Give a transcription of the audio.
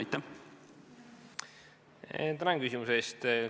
Tänan küsimuse eest!